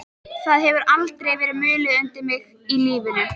Það hefur aldrei verið mulið undir mig í lífinu.